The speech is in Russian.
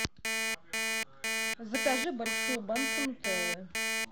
закажи большую банку нутеллы